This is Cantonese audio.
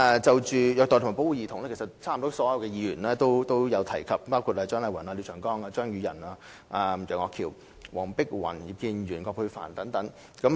就虐待及保護兒童，幾乎所有議員皆有所提及，包括蔣麗芸議員、廖長江議員、張宇人議員、楊岳橋議員、黃碧雲議員、葉建源議員、葛珮帆議員等。